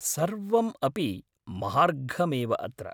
सर्वम् अपि महार्घमेव अत्र।